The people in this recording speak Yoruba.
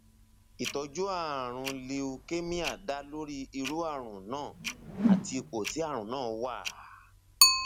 ìtọjú ààrùn leukemia dá lórí irú ààrùn náà àti ipò tí ààrùn náà wà